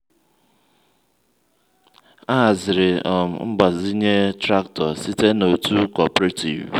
a haziri um mgbazinye traktọ site na otu cooperative.